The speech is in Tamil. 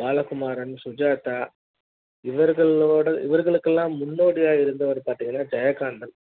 பாலகுமாரன் சுஜாதா இவர்களோடு இவர்களுக்கெல்லாம் முன்னோடி யாக இருந்தவர் பாத்திங்கன்னா ஜெயகாந்தன்